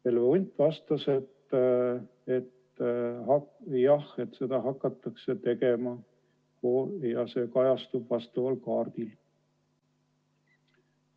Helve Hunt vastas, et jah, seda hakatakse tegema ja see kajastub vastaval kaardil.